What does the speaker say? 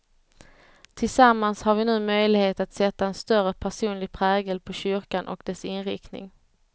Tillsammans har vi nu möjlighet att sätta en större personlig prägel på kyrkan och dess inriktning.